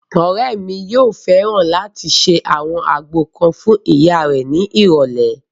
Ọ̀rẹ́ mi yóò fẹ́ràn láti ṣe àwọn àgbo kan fún ìyá rẹ̀ ní ìrọ̀lẹ̀